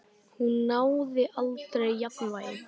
Hún náði aldrei jafnvægi.